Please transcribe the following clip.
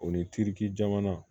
O ni tiriki jamana